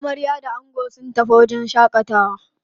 Amarya da ango sun tafi wajen shaƙatawa.